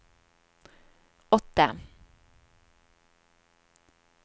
åtte